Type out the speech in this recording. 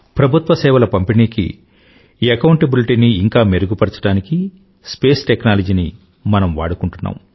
ప్రభుత్వ సేవల పంపిణీకీ అకౌంటబిలిటీ ని ఇంకా మెరుగుపరచడానికీ స్పేస్ టెక్నాలజీ ని మనం వాడుకుంటున్నాం